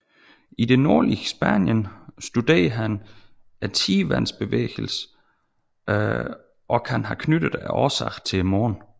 I det nordlige Spanien studerede han tidevandsbevægelserne og kan have knyttet årsagen til månen